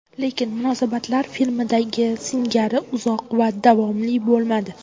Lekin munosabatlar filmdagi singari uzoq va davomli bo‘lmadi.